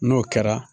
N'o kɛra